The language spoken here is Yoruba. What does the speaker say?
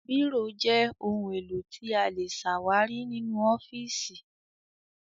Bírò jẹ́ ohun-èlò tí a lè ṣàwárí nínú ọ́fíísì.